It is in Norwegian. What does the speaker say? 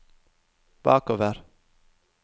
bakover